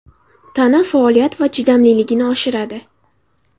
Tana faoliyat va chidamliligini oshiradi.